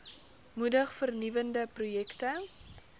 moedig vernuwende projekte